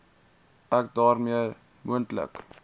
ek daarmee moontlike